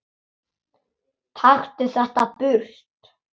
Taktu þetta burt!